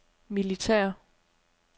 militære